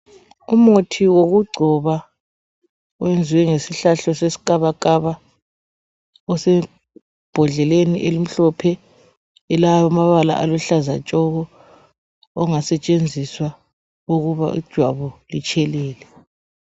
Umuthi wokugcoba wenziwe ngesihlahla seskabakaba osebhodleni elimhlophe elamabala aluhlaza tshoko ongasetshenziswa ukuba ijwabu litshelele